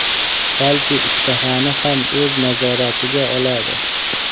balki ishtahani ham o‘z nazoratiga oladi.